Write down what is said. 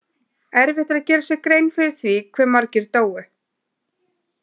Erfitt er að gera sér grein fyrir því hve margir dóu.